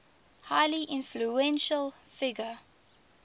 highly influential figure